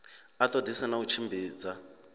a ṱoḓisise na u tshimbidza